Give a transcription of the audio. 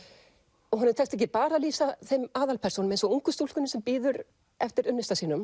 og honum tekst ekki bara að lýsa þeim aðalpersónum eins og ungu stúlkunni sem bíður eftir unnusta sínum